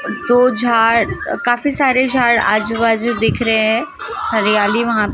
दो झाड़ काफी सारे झाड़ आजु बाजू दिख रहे हैं हरियाली वहां पे दिख रही है।